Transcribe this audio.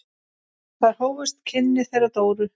Þar hófust kynni þeirra Dóru.